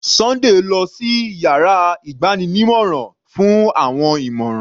Sunday lọ sí yàrá ìgbanímọ̀ràn fún àwọn ìmọ̀ràn.